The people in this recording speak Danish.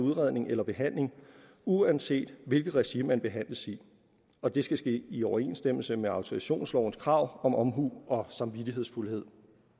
udredning eller behandling uanset hvilket regi man behandles i og det skal ske i overensstemmelse med autorisationslovens krav om omhu og samvittighedsfuldhed